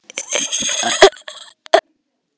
Hassið var samt aldrei efnið hans Óla.